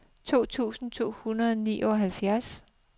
to tusind to hundrede og nioghalvfjerds